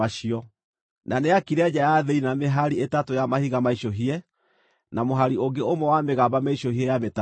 Na nĩaakire nja ya thĩinĩ na mĩhari ĩtatũ ya mahiga maicũhie na mũhari ũngĩ ũmwe wa mĩgamba mĩicũhie ya mĩtarakwa.